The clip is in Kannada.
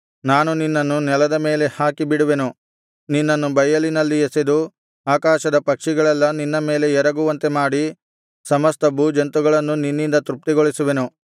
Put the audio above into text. ನಾನು ನಿನ್ನನ್ನು ನೆಲದ ಮೇಲೆ ಹಾಕಿಬಿಡುವೆನು ನಿನ್ನನ್ನು ಬಯಲಿನಲ್ಲಿ ಎಸೆದು ಆಕಾಶದ ಪಕ್ಷಿಗಳೆಲ್ಲಾ ನಿನ್ನ ಮೇಲೆ ಎರಗುವಂತೆ ಮಾಡಿ ಸಮಸ್ತ ಭೂಜಂತುಗಳನ್ನು ನಿನ್ನಿಂದ ತೃಪ್ತಿಗೊಳಿಸುವೆನು